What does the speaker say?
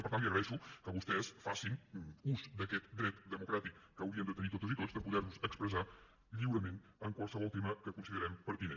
i per tant li agraeixo que vostès facin ús d’aquest dret democràtic que hauríem de tenir totes i tots de poder nos expressar lliurement en qualsevol tema que considerem pertinent